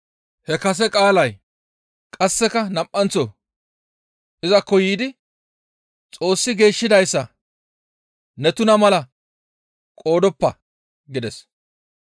He kase qaalay qasseka nam7anththo izakko yiidi, «Xoossi geeshshidayssa ne tuna mala qoodoppa» gides.